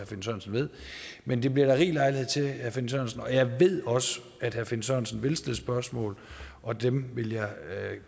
finn sørensen ved men det bliver der rig lejlighed til herre finn sørensen og jeg ved også at herre finn sørensen vil stille spørgsmål og dem vil jeg